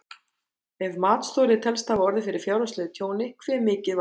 Ef matsþoli telst hafa orðið fyrir fjárhagslegu tjóni hve mikið var tjónið?